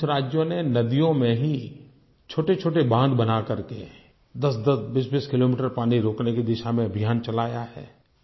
कुछ राज्यों ने नदियों में ही छोटेछोटे बाँध बना करके दसदस बीसबीस किलोमीटर पानी रोकने की दिशा में अभियान चलाया है